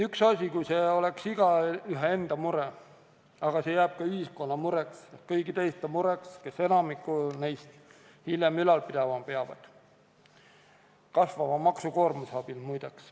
Üks asi on see, kui see oleks igaühe enda mure, aga see jääb ka ühiskonna mureks, kõigi teiste mureks, kes enamikku neist raha väljavõtjatest peavad hiljem hakkama ülal pidama – kasvava maksukoormuse abil, muide.